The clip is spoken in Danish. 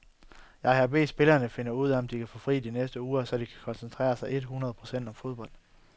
Jeg har bedt spillerne finde ud af om de kan få fri de næste uger, så de kan koncentrere sig et hundrede procent om fodbold.